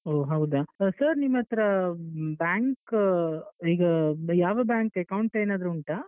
ಓ ಹೌದಾ sir ನಿಮ್ಮತ್ರ bank ಈಗ ಯಾವ bank account ಏನಾದ್ರೂ ಉಂಟಾ?